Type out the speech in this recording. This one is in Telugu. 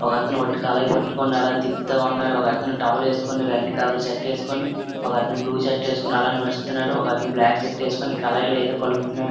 ఒకతను వొట్టి కళాయి పట్టుకొని అలాగ తిప్పుతా ఉన్నాడు ఒకతను టవల్ ఏసుకొని రెడ్ కలర్ షర్ట్ ఏసుకొని ఒకతను బ్లూ షర్ట్ ఏసుకొని అలా నడుస్తున్నాడు ఒకతను బ్లాక్ షర్ట్ ఏసుకొని కళాయిలో ఏదో కలుపుతున్నాడు.